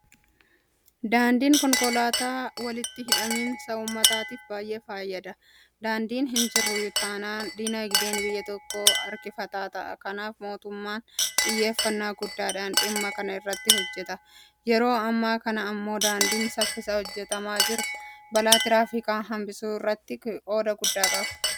Daandiin konkolaataa walitti hidhaminsa uummataatiif baay'ee fayyada. Daandiin hinjiru taanaan diinagdeen biyya tokkoo harkifataa ta'a. Kanaaf mootummaan xiyyeeffannaa guddaadhaan dhimma kana irratti hojjeta. Yeroo ammaa kana immoo daandiin saffisaa hojjetamaa jiru; Balaa tiraafikaa hanbisuu irrattis qooda guddaa qaba. Daandiin konkolaataa maal-irraa hojjetama?